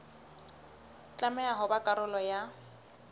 tlameha ho ba karolo ya